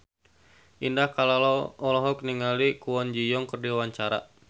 Indah Kalalo olohok ningali Kwon Ji Yong keur diwawancara